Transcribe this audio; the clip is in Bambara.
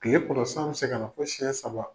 Kile kɔnɔ san bɛ se ka na fo siyɛn saba.